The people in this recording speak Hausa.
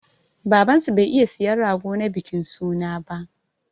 Baban su bai iya siyan rago na bikin suna ba.